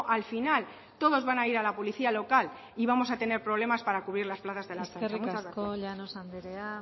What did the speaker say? al final todos van a ir a la policía local y vamos a tener problemas para cubrir las plazas de la ertzaintza eskerrik asko eskerrik asko llanos anderea